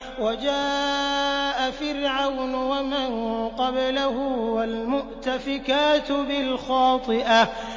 وَجَاءَ فِرْعَوْنُ وَمَن قَبْلَهُ وَالْمُؤْتَفِكَاتُ بِالْخَاطِئَةِ